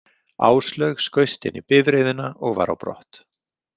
Áslaug skaust inn í bifreiðina og var á brott.